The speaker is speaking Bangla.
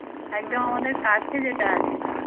একদম আমাদের কাছে যেটা আছে